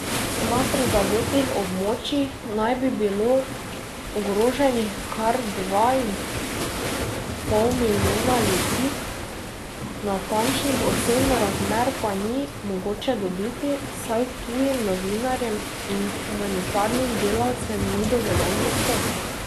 Na prizadetih območjih naj bi bilo ogroženih kar dva in pol milijona ljudi, natančnih ocen razmer pa ni mogoče dobiti, saj tujim novinarjem in humanitarnim delavcem ni dovoljen dostop.